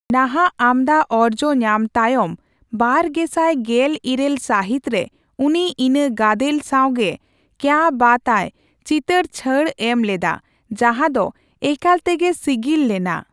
ᱱᱟᱦ'ᱼᱟᱜ ᱟᱢᱫᱟ ᱚᱨᱡᱚᱧᱟᱢ ᱛᱟᱭᱚᱢ ᱵᱟᱨ ᱜᱮᱥᱟᱭ ᱜᱮᱞ ᱤᱨᱟᱹᱞ ᱥᱟᱹᱦᱤᱛ ᱨᱮ ᱩᱱᱤ ᱤᱱᱟᱹ ᱜᱟᱫᱮᱞ ᱥᱟᱣ ᱜᱮ 'ᱠᱮᱭᱟ ᱵᱟᱛ ᱟᱹᱭ' ᱪᱤᱛᱟᱹᱨ ᱪᱷᱟᱹᱲᱮ ᱮᱢᱞᱮᱫᱟ, ᱡᱟᱦᱟᱸ ᱫᱚ ᱮᱠᱟᱞᱛᱮᱜᱮ ᱥᱤᱜᱤᱞ ᱞᱮᱱᱟ ᱾